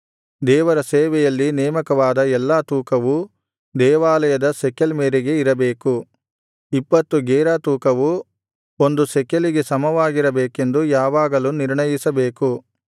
ದೇವರ ಸೇವೆಯಲ್ಲಿ ನೇಮಕವಾದ ಎಲ್ಲಾ ತೂಕವು ದೇವಾಲಯದ ಶೆಕೆಲ್ ಮೇರೆಗೆ ಇರಬೇಕು ಇಪ್ಪತ್ತು ಗೇರಾ ತೂಕವು ಒಂದು ಶೆಕೆಲಿಗೆ ಸಮವಾಗಿರಬೇಕೆಂದು ಯಾವಾಗಲೂ ನಿರ್ಣಯಿಸಬೇಕು